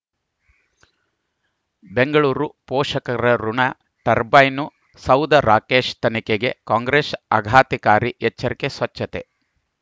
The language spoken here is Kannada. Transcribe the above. ಬೆಂಗಳೂರು ಪೋಷಕರಋಣ ಟರ್ಬೈನು ಸೌಧ ರಾಕೇಶ್ ತನಿಖೆಗೆ ಕಾಂಗ್ರೆಸ್ ಆಘಾತಕಾರಿ ಎಚ್ಚರಿಕೆ ಸ್ವಚ್ಛತೆ